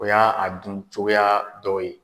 O ya a dun cogoya dɔ ye.